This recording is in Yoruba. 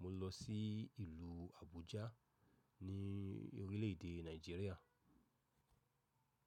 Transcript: mo lọ sí ìlú Abuja ní orílẹ̀ èdè Nigeria.